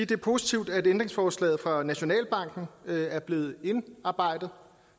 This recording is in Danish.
det er positivt at ændringsforslaget fra nationalbanken er blevet indarbejdet